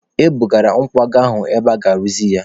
E bụgara nkwago ahụ ebe aga-arụzi ya.